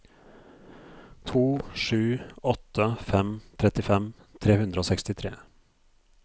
to sju åtte fem trettifem tre hundre og sekstitre